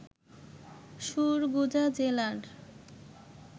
সুরগুজা জেলার